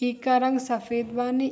ई का रंग सफेद बानी।